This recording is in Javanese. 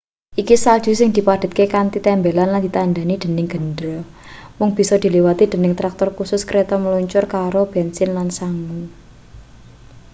iki salju sing dipadhetke kanthi tembelan lan ditandhani dening gendera mung bisa diliwati dening traktor khusus kreta mluncur karo bensin lan sangu